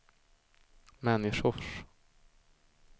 människors